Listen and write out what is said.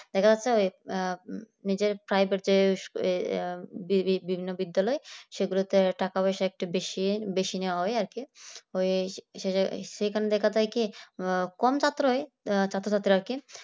দেখা যাচ্ছে ওই নিজের privet যে বিভিন্ন বিদ্যালয় সেগুলোতে টাকা-পয়সা একটু বেশি বেশি নেওয়া হয় আর কি ওই হচ্ছে যে সেখান থেকে দেখা যায় কি কম ছাত্রই ছাত্রছাত্রীরা কি